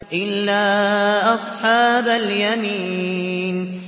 إِلَّا أَصْحَابَ الْيَمِينِ